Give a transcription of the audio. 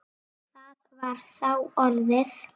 Það var þá orðið!